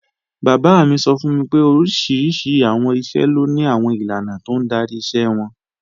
Bàbá mi sọ fún mi pé oríṣiríṣi àwọn iṣẹ́ ló ni àwọn ìlànà tó ń darí iṣẹ́ wọn